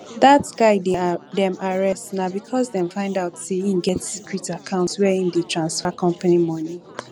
dat guy dem arrest na because dem find out say im get secret account where im dey transfer company money